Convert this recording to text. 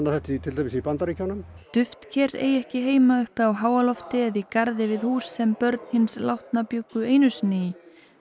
þetta til dæmis í Bandaríkjunum duftker eigi ekki heima uppi á háalofti eða í garði við hús sem börn hins látna bjuggu einu sinni í